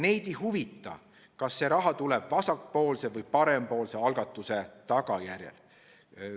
Neid ei huvita, kas see raha tuleb vasakpoolse või parempoolse algatuse tulemusena.